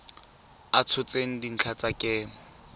a tshotseng dintlha tsa kemo